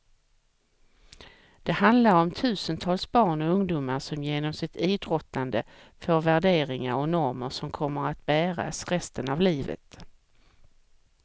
Det handlar om tusentals barn och ungdomar som genom sitt idrottande får värderingar och normer som kommer att bäras resten av livet.